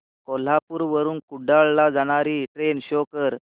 कोल्हापूर वरून कुडाळ ला जाणारी ट्रेन शो कर